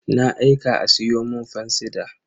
Na aika a siyo mun fansida.